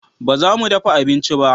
Ba za mu dafa abinci ba